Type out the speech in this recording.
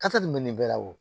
Tasa de bɛ nin bɛɛ la wo